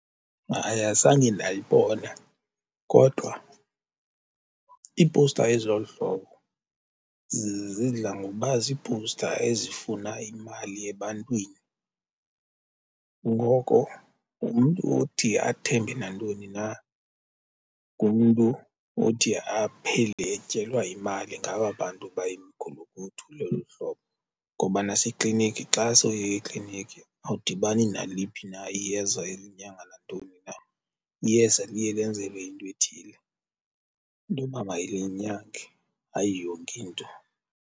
Hayi, azange ndayibona kodwa iipowusta ezilolu hlobo zidla ngokuba ziipowusta ezifuna imali ebantwini. Ngoko umntu othi athembe nantoni na ngumntu othi aphele etyelwa imali ngaba bantu bayimigulukudu elolu hlobo. Ngoba nasekliniki xa sowuye ekliniki awudibani naliphi na iyeza elinyanga nantoni na iyeza liye lenzelwe into ethile intoba mayilinyange hayi yonke into.